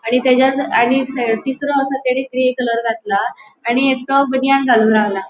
आणि तेचाच आणि तीसरों आसा तेनी ग्रे कलर घेतला आणि एकटो बनियान घालून रावला.